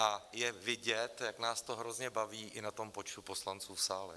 A je vidět, jak nás to hrozně baví, i na tom počtu poslanců v sále.